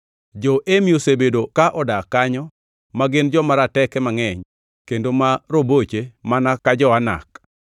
(Jo-Emi osebedo ka odak kanyo, ma gin joma rateke, mangʼeny kendo ma roboche mana ka jo-Anak.